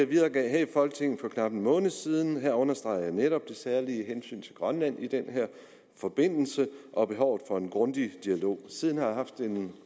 videregav her i folketinget for knap en måned siden her understregede jeg netop det særlige hensyn til grønland i den her forbindelse og behovet for en grundig dialog siden har jeg haft en